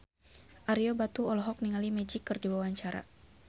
Ario Batu olohok ningali Magic keur diwawancara